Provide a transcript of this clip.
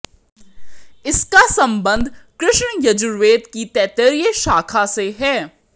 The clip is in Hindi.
इसका सम्बन्ध कृष्ण यजुर्वेद की तैतरीय शाखा से है